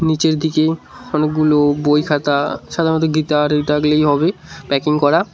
নীচের দিকে অনেকগুলো বইখাতা সাধারণত গীতা আর ওইগুলোই হবে প্যাকিং করা।